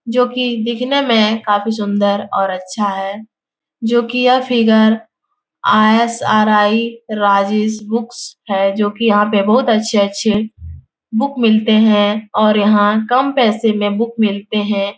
जोकि दिखने में काफी सुंदर और अच्छा है। जो की यह फिगर आई.एस.आर.आई राजेश बुक्स है। जोकि यहा पे बोहोत अच्छे-अच्छे बुक मिलते है। और याहा कम पेसे में बुक मिलते है।